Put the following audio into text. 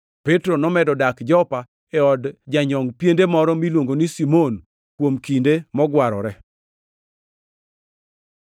Petro nomedo dak Jopa e od janyongʼ piende moro miluongo ni Simon kuom kinde mogwarore.